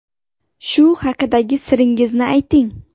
Shu haqidagi siringizni ayting.